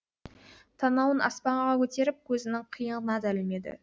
танауын аспанға көтеріп көзінің қиығына да ілмеді